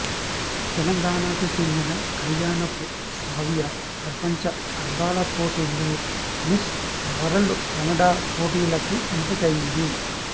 తెలంగాణాకి చెందిన కళ్యాణపు శ్రావ్య ప్రపంచ అందాల పోటీల్లో మిస్ వరల్డ్ కెనడా పోటీలకి ఎంపికైంది